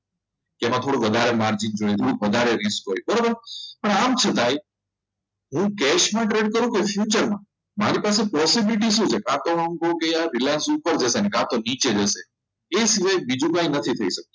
એમાં થોડું વધારે માજન અને થોડું વધારે risk હોય બરાબર પણ આમ છતાંય એવું કે cash trade કરું કે future મારી પાસે possibility શું છે કા તો હું એમ કહું કે Reliance ઉપર જશે કાં તો નીચે જશે એ સિવાય બીજું કંઇક થઈ નથી શકતું